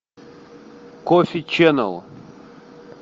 кофи ченел